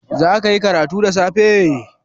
Zaka yi karatu da safe?